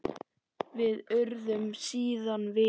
Við urðum síðan vinir.